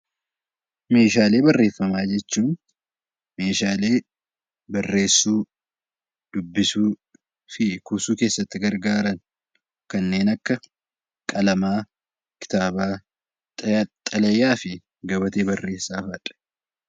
Meeshaalee barreeffamaa jechuun meeshaalee barreessuu , dubbisuuf fi kuusuu keessatti gargaaran kanneen Akka qalamaa , kitaabaa, xalayaa fi gabatee barreessaa fa'aadha.